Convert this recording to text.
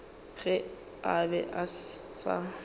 ge a be a sa